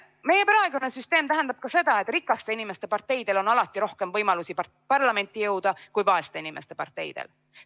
Meie praegune süsteem tähendab ka seda, et rikaste inimeste parteidel on alati rohkem võimalusi parlamenti jõuda kui vaeste inimeste parteidel.